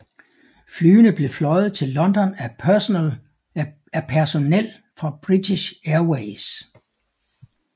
Flyene blev fløjet til London af personel fra British Airways